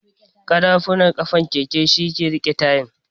ƙarafunan ƙafan keke shi yake riƙe tayan.